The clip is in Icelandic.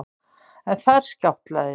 En þar skjátlaðist